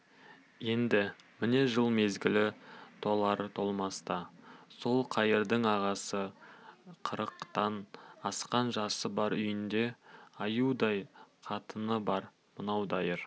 енді міне жыл мезгілі толар-толмаста сол қайырдың ағасы қырықтан асқан жасы бар үйінде аюдай қатыны бар мынау дайыр